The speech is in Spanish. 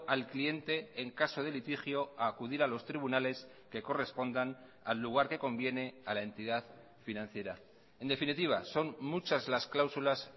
al cliente en caso de litigio a acudir a los tribunales que correspondan al lugar que conviene a la entidad financiera en definitiva son muchas las cláusulas